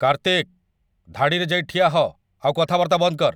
କାର୍ତ୍ତିକ! ଧାଡ଼ିରେ ଯାଇ ଠିଆ ହ' ଆଉ କଥାବାର୍ତ୍ତା ବନ୍ଦ କର୍ ।